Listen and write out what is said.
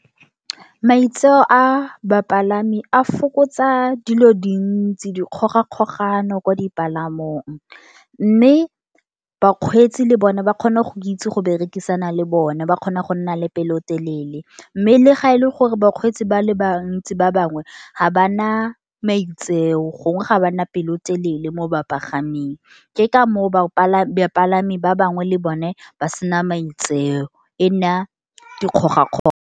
Maitseo a bapalami, a fokotsa dilo dintsi, dikgogakgogano kwa dipalamong. Mme bakgwetsi le bona, ba kgona go itse go berekisana le bona, ba kgona go nna le pelotelele. Mme le ga e le gore bakgwetsi ba le bantsi ba bangwe, ga bana maitseo gongwe ga bana pelotelele mo ba pagaming. Ke ka moo bapalami ba bangwe le bone ba sena maitseo, e nna dikgogakgogano.